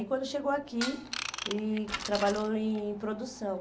E quando chegou aqui, ele trabalhou em produção.